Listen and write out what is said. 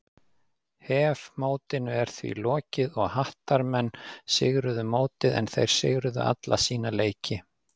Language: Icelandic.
HEF mótinu er því lokið og Hattarmenn sigruðu mótið en þeir sigruðu alla sína leiki.